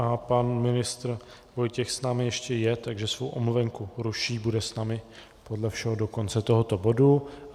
A pan ministr Vojtěch s námi ještě je, takže svou omluvenku ruší, bude s námi podle všeho do konce tohoto bodu.